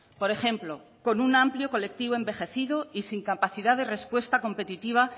por ejemplo con un amplio colectivo y sin capacidad de respuesta competitiva